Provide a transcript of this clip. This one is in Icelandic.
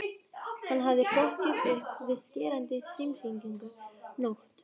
Hann hafði hrokkið upp við skerandi símhringingu nótt